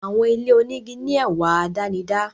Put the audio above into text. Àwọn ilé igi ní ẹwà àdánidá.